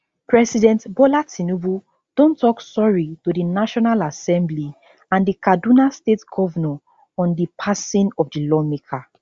president bola tinubu don tok sorry to di national assembly and di kaduna state govnor on di passing of di lawmaker